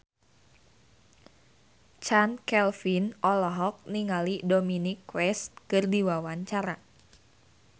Chand Kelvin olohok ningali Dominic West keur diwawancara